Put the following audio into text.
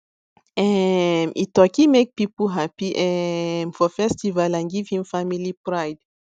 um e turkey make people happy um for festival and give him family pride